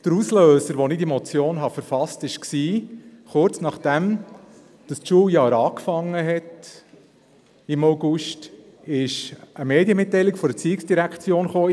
Der Auslöser für das Verfassen dieser Motion war, dass kurz nach Beginn des Schuljahres im August eine Medienmitteilung der ERZ publiziert wurde.